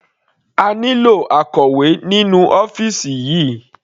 A nílò akọ̀wé nínú ọ́fìsì yìí.